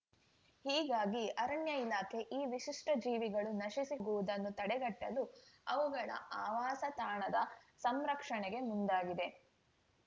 ಹೀಗಾಗಿ ಅರಣ್ಯ ಇಲಾಖೆ ಈ ವಿಶಿಷ್ಟಜೀವಿಗಳು ನಶಿಸಿ ಹೋಗುವುದನ್ನು ತಡೆಗಟ್ಟಲು ಅವುಗಳ ಆವಾಸ ತಾಣದ ಸಂರಕ್ಷಣೆಗೆ ಮುಂದಾಗಿದೆ